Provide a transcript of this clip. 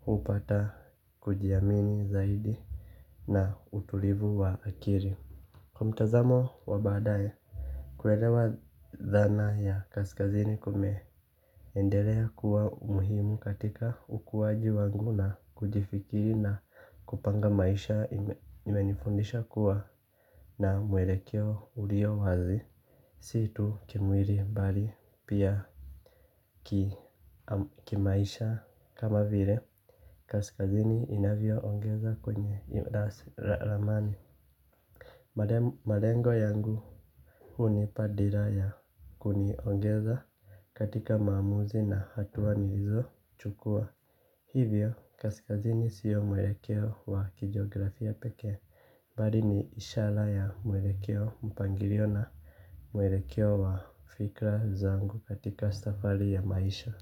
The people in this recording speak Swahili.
Hupata kujiamini zaidi na utulivu wa akiri. Kwa mtazamo wa baadae kuhelewa dhana ya kaskazini kume endelea kuwa umuhimu katika ukuwaji wangu na kujifikiri na kupanga maisha imenifundisha kuwa na mwelekeo ulio wazi si tu kimwili mbali pia kimaisha kama vile kaskazini inavyo ongeza kwenye lasi ramani. Malengo yangu hunipa dira ya kuniongeza katika maamuzi na hatuwa nilizo chukua. Hivyo kaskazini siyo mwelekeo wa kijiografia pekee bari ni ishala ya mwelekeo mpangilio na mwelekeo wa fikra zangu katika safari ya maisha.